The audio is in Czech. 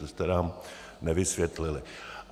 To jste nám nevysvětlil.